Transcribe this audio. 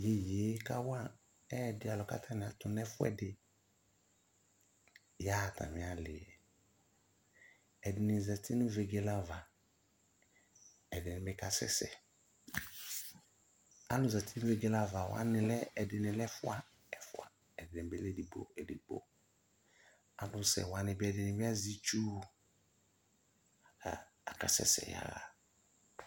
Iyeye kawa ɛdi alʋ katʋ nɛfuɛdi yaɣa atami ali yɛ Ɛdini zati nʋ vegele ava, ɛdini bi kasɛsɛ Alʋ zati nʋ vegele ava wani lɛ, ɛdini lɛ ɛfua, ɛfua, ɛdini bi lɛ edigbo, edigbo Alʋsɛ wani bi ɛdini bi azɛ itsu kʋ akasɛsɛ yaɣa